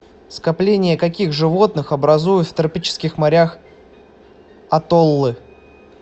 скопления каких животных образуют в тропических морях атоллы